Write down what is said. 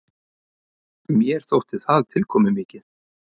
Mér þótti það tilkomumikið.